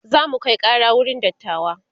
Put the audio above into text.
zamu Kai Kara wurin dattawa